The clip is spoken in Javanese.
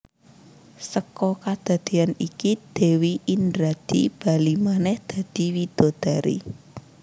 Seka kadadeyan iki Dewi Indradi bali manèh dadi widodari